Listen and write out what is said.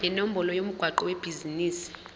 nenombolo yomgwaqo webhizinisi